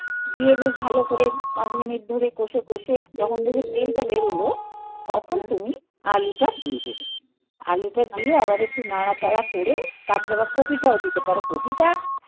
দিয়ে বেশ ভালো করে পাঁচ মিনিট ধরে কষে কষে যখন দেখবে তেলটা বেরোলো তখন তুমি আলুটা দিয়ে দেবে. আলুটা দিয়ে আবার একটু নাড়াচাড়া করে তারপরে আবার কপিটাও দিতে পারো. কপিটা